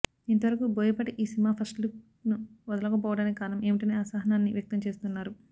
ఇంతవరకూ బోయపాటి ఈ సినిమా ఫస్టులుక్ ను వదలకపోవడానికి కారణం ఏమిటనే అసహనాన్ని వ్యక్తం చేస్తున్నారు